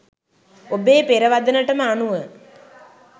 ඔබේ පෙරවදනටම අනුව